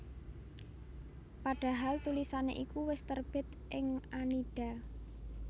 Padahal tulisan iku wis terbit ing Annida